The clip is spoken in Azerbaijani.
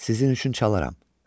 Sizin üçün çalaram.